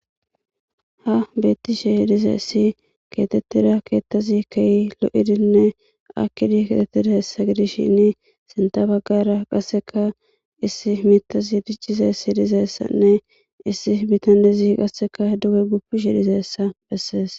ha beettishe dize issi keetettida keettazi kei lo7idinne akkidi ketettida hessa gidishshinn senta baggara qasseka issi mitasi diccize si dizeessanne issi bitandezi qasseka duge gupishi dizeessa bessees